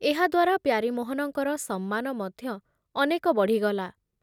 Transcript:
ଏହାଦ୍ଵାରା ପ୍ୟାରୀମୋହନଙ୍କର ସମ୍ମାନ ମଧ୍ୟ ଅନେକ ବଢ଼ିଗଲା ।